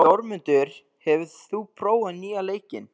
Þórmundur, hefur þú prófað nýja leikinn?